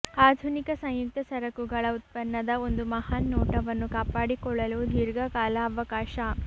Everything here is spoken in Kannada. ಆಧುನಿಕ ಸಂಯುಕ್ತ ಸರಕುಗಳ ಉತ್ಪನ್ನದ ಒಂದು ಮಹಾನ್ ನೋಟವನ್ನು ಕಾಪಾಡಿಕೊಳ್ಳಲು ದೀರ್ಘಕಾಲ ಅವಕಾಶ